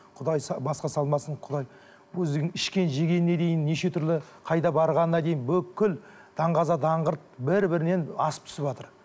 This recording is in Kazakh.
құдай басқа салмасын құдай өздігін ішкен жегеніне дейін неше түрлі қайда барғанына дейін бүкіл даңғаза даңғырт бір бірінен асып түсіватыр